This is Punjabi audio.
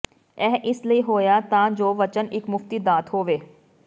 ਇਹ ਇਸ ਲਈ ਹੋਇਆ ਤਾਂ ਜੋ ਵਚਨ ਇੱਕ ਮੁਫ਼ਤੀ ਦਾਤ ਹੋਵੇ